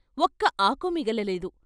ఒక్క ఆకు మిగలలేదు.